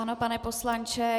Ano, pane poslanče.